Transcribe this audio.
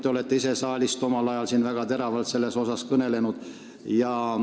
Te olete ise omal ajal siin saalis väga teravalt sellest kõnelenud.